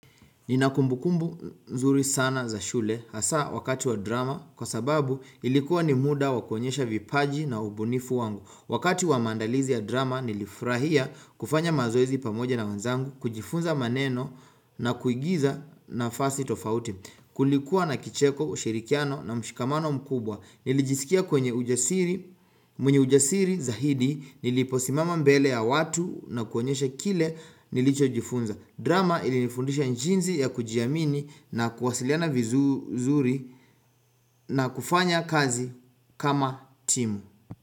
Nina kumbukumbu mzuri sana za shule hasa wakati wa drama kwa sababu ilikuwa ni mda wa kuonyesha vipaji na ubunifu wangu. Wakati wa maandalizi ya drama nilifurahia kufanya mazoezi pamoja na wanzangu, kujifunza maneno na kuigiza nafasi tofauti. Kulikuwa na kicheko ushirikiano na mshikamano mkubwa. Nilijisikia kwenye ujasiri, mwenye ujasiri zaidi, niliposimama mbele ya watu na kuonyesha kile nilichojifunza. Drama ilinifundisha jinzi ya kujiamini na kuwasiliana vizuri na kufanya kazi kama timu.